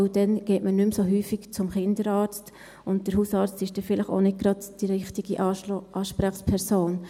Denn dann geht man nicht mehr so häufig zum Kinderarzt, und der Hausarzt ist dann vielleicht auch nicht gerade die richtige Ansprechperson.